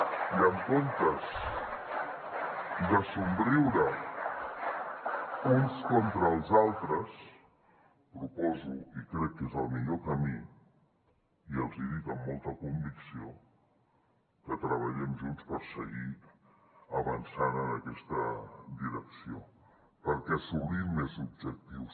i en comptes de somriure uns contra els altres proposo i crec que és el millor camí i els hi dic amb molta convicció que treballem junts per seguir avançant en aquesta direcció perquè assolim més objectius